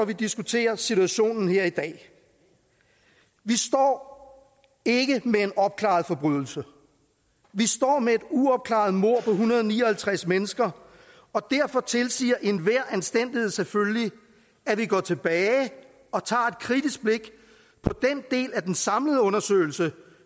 vi diskuterer situationen her i dag vi står ikke med en opklaret forbrydelse vi står med et uopklaret mord på en hundrede og ni og halvtreds mennesker og derfor tilsiger enhver anstændighed selvfølgelig at vi går tilbage og tager et kritisk blik på den del af den samlede undersøgelse